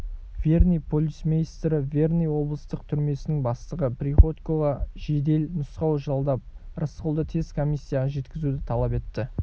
верный полицмейстрі верный облыстық түрмесінің бастығы приходькоға жедел нұсқау жолдап рысқұлды тез комиссияға жеткізуді талап етті